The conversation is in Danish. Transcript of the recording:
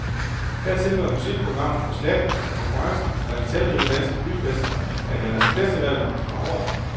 Dertil var musikprogrammet for slattent og konkurrencen fra de talrige danske byfester, der kalder sig festivaler, for hård.